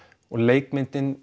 og leikmyndin